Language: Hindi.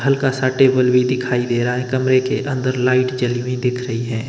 हल्का सा टेबल भी दिखाई दे रहा है कमरे के अंदर लाइट जली हुई दिख रही है।